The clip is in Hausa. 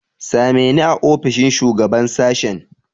Ka same ni a ofishin shugaban sashen.